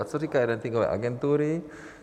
A co říkají ratingové agentury?